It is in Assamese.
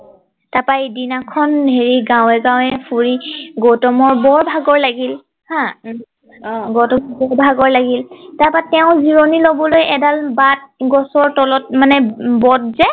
তাপা এদিনা খন হেৰি গাওঁৱে গাওঁৱে ফুৰি গৌতমৰ বৰ ভাগৰ লাগিল হা উম অ গৌতমৰ বহুত ভাগৰ লাগিল তাপা তেওঁ জিৰণি লবলৈ এডাল বাট গছৰ তলত মানে বট যে